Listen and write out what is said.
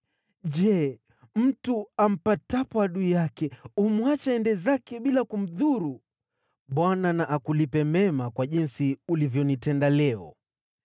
Je, mtu ampatapo adui yake, humwacha aende zake bila kumdhuru? Bwana na akulipe mema kwa jinsi ulivyonitenda leo.